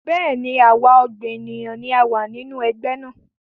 Bẹ́ẹ̀ni, àwa ọgbọ́n ènìyàn ni a wá nínú Ẹgbẹ́ náà